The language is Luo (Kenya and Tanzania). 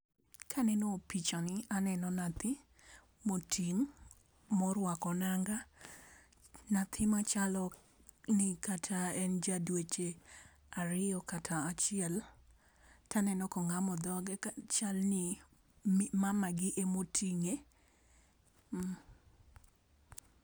Ka aneno picha ni aneno nyathi ma oting' mo rwako nanga nyathi ma chalo ni en ja dweche ariyo kata achiel, to aneno ka oamo dhoge chal ni mama gi emo oting'e.